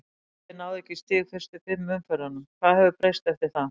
Liðið náði ekki í stig í fyrstu fimm umferðunum, hvað hefur breyst eftir það?